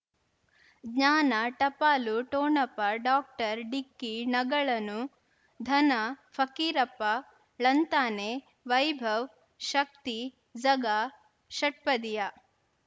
ಜ್ಞಾನ ಟಪಾಲು ಠೊಣಪ ಡೋಕ್ಟರ್ ಢಿಕ್ಕಿ ಣಗಳನು ಧನ ಫಕೀರಪ್ಪ ಳಂತಾನೆ ವೈಭವ್ ಶಕ್ತಿ ಝಗಾ ಷಟ್ಪದಿಯ